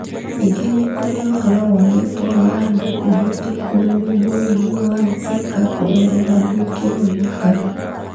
Ningĩ nĩ kũrĩ ũhoro wonetwo wa andũ kũhĩtũkwo nĩ mũrimũ wa Zika kũgerera gwĩkĩrũo thakame.